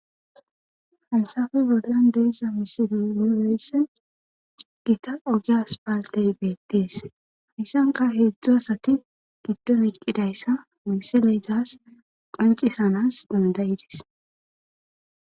hansafe boldan deessa misili muureyss gita ogiyas paaltey beettees hayssanka heedzdzu asati giddon iqqidayssa misileytas qoncisanas dandayides